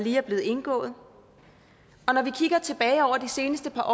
er blevet indgået og når vi kigger tilbage over de seneste par